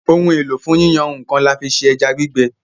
Ohun èlò fún yíyan nǹkan, là fí ṣe ẹja gbígbẹ.